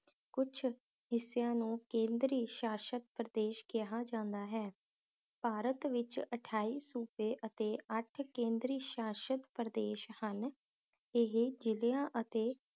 ਕੁਛ ਹਿੱਸਿਆਂ ਨੂੰ ਕੇਂਦਰੀ ਸ਼ਾਸ਼ਤ ਪ੍ਰਦੇਸ਼ ਕਿਹਾ ਜਾਂਦਾ ਹੈ ਭਾਰਤ ਵਿਚ ਅਠਾਈ ਸੂਬੇ ਅਤੇ ਅੱਠ ਕੇਂਦਰੀ ਸ਼ਾਸ਼ਤ ਪ੍ਰਦੇਸ਼ ਹਨ ਇਹ ਜਿਲਿਆਂ ਅਤੇ